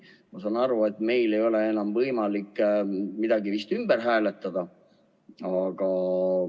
Ma saan aru, et meil ei ole enam võimalik vist midagi ümber hääletada.